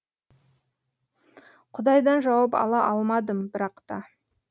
құдайдан жауап ала алмадым бірақта